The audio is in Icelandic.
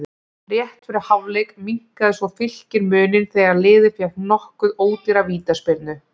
Rétt fyrir hálfleik minnkaði svo Fylkir muninn þegar liðið fékk nokkuð ódýra vítaspyrnu.